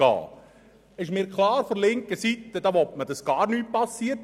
Es ist mir klar, dass man seitens der Linken will, dass gar nichts passiert.